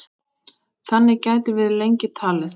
Þannig gætum við lengi talið.